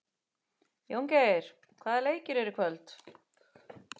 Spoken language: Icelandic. Jóngeir, hvaða leikir eru í kvöld?